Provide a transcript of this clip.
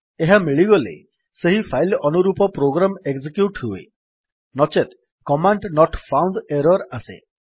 ଏହା ମିଳିଗଲେ ସେହି ଫାଇଲ୍ ଅନୁରୂପ ପ୍ରୋଗ୍ରାମ ଏକଜିକ୍ୟୁଟ୍ ହୁଏ ନଚେତ କମାଣ୍ଡ ନୋଟ୍ ଫାଉଣ୍ଡ ଏରର୍ ଆସେ